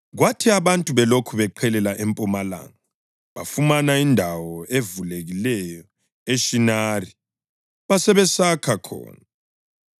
Kwathi abantu belokhu beqhelela empumalanga, bafumana indawo evulekileyo eShinari basebesakha khona.